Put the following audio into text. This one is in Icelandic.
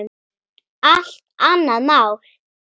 Allt annað mál.